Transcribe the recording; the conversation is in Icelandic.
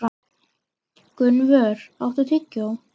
Gunnvör, áttu tyggjó?